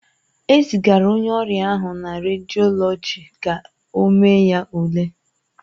E zigara onye ọrịa ahụ na rediọlọji ka ọ mee ya ule.